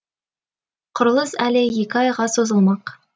құрылыс әлі екі айға созылмақ